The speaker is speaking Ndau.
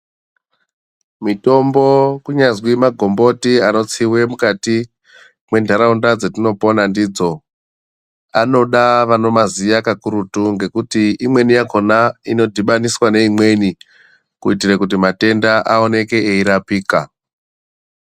Mitombo kunyazwi magomboti anotsiwe mukati mwentaraunda dzatinopona ndidzo. Anoda vanomaziya kakurutu ngekuti imweni yakona inodhibaniswa neimweni kuitire kuti matenda aoneke eirapika.